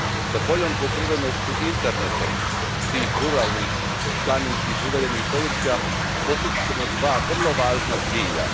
S boljom pokrivenošću internetom tih ruralnih, planinskih i udaljenih područja postići ćemo dva vrlo važna cilja.